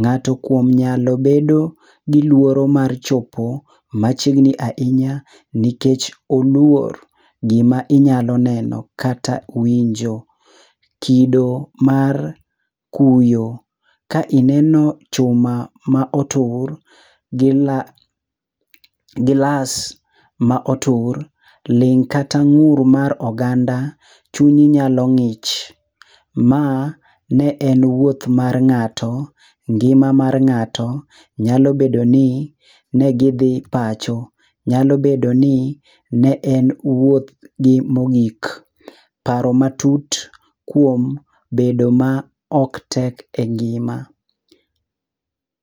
ng'ato kuom nyalo bedo gi lworo mar chopo machiegni ahinya nikech oluor. Gima inyalo neno kata winjo. Kido mar kuyo ka ineno chuma ma otur ,gilas ma otur, ling' kata ng'ur mar oganda, chunyi nyalo ng'ich. Ma ne en wuoth mar ng'ato, ngima mar ng'ato nyalo bedo ni ne gidhi pacho. Nyalo bedo ni ne en wuoth gi mogik. Paro matut kuom bedo ma ok tek e ngima.